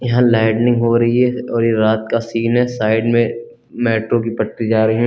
यहां लाइटनिंग हो रही है और ये रात का सीन है साइड में मेट्रो की पट्टी जा रहे हैं।